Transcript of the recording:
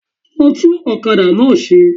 Lọ tún òkadà náà se